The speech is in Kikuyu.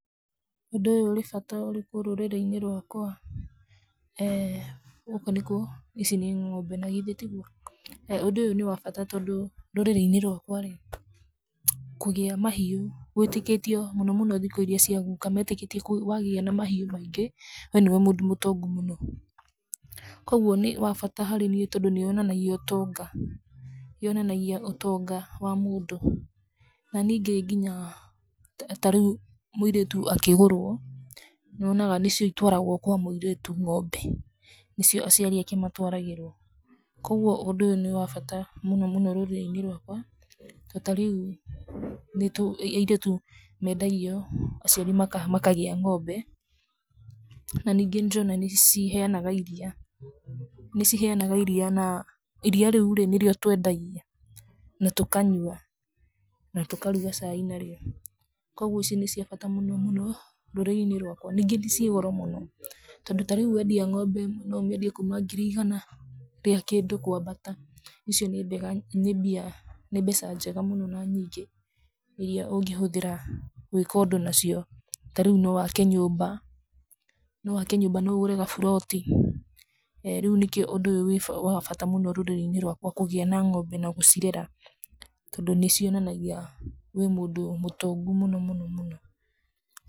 Ũndũ ũyũ ũrĩ bata ũrĩkũ rũrĩrĩ-inĩ rwakwa? eeh gũkũ nĩkũ, ici nĩ ng'ombe nagithe tiguo, ũndũ ũyũ nĩwa bata tondũ, rũrĩrĩ-inĩ rwakwa ĩ, kũgĩa mahiũ gwĩtĩkĩtio mũno mũno thikũ iria cia guka metĩkĩtie kũ wagĩa na mahiũ maingĩ, wee nĩwe mũndũ mũtongu mũno, koguo nĩ wa bata harĩ niĩ tondũ nĩwonanagia ũtonga, yonanagia ũtonga wa mũndũ, na ningĩ nginya, tarĩu, múirĩtu akĩgũrwo, nyonaga nĩcio itwaragwo kwa mũirĩtu ng'ombe, nĩcio aciari ake matwaragĩrwo, koguo ũndũ ũyũ nĩwa bata mũno rũrĩrĩ-inĩ rwakwa, to tarĩu nĩtu, airĩtu mendagio, aciari makagĩa ng'ombe, na ningĩ nĩndĩrona nĩciheanaga iria, nĩciheanaga iria na, iria rĩu nĩrĩo twendagia, na tũkanyua, na tũkaruga cai narĩo, koguo ici nĩcia bata mũno mũno rũrĩrĩ-inĩ rwakwa, ningĩ ciĩ goro mũno, tondũ ta rĩu wendia ng'ombe ng'ima ũmĩendie kuma ngiri igana rĩa kĩndũ kwambata, icio nĩ mbega nĩ mbia nĩ mbeca njega mũno na nyingĩ iria ũngĩhũthĩra gwĩka ũndũ nacio, tarĩu nowake nyũmba, nowake nyũmba nogũre gaburoti, eeh rĩu nĩkĩo ũndũ ũyũ wĩba wabata mũno rũrĩrĩ-inĩ rwakwa kũgĩa na ng'ombe na gũcirera tondũ nĩcionanagia wĩ mũndũ mũtongu mũno mũno.